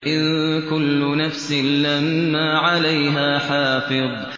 إِن كُلُّ نَفْسٍ لَّمَّا عَلَيْهَا حَافِظٌ